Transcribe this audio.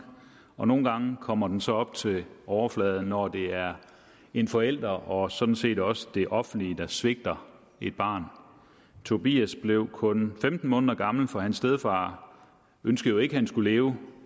og nogle gange kommer den så op til overfladen når det er en forælder og sådan set også det offentlige der svigter et barn tobias blev kun femten måneder gammel for hans stedfar ønskede jo ikke at han skulle leve og